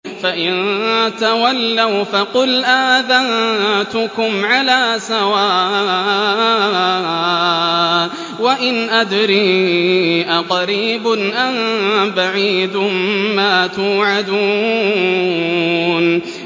فَإِن تَوَلَّوْا فَقُلْ آذَنتُكُمْ عَلَىٰ سَوَاءٍ ۖ وَإِنْ أَدْرِي أَقَرِيبٌ أَم بَعِيدٌ مَّا تُوعَدُونَ